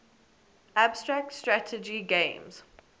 abstract strategy games